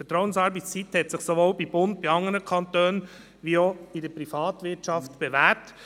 Die Vertrauensarbeitszeit hat sich sowohl beim Bund, in anderen Kantonen als auch in der Privatwirtschaft bewährt.